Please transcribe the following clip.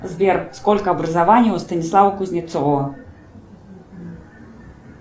сбер сколько образований у станислава кузнецова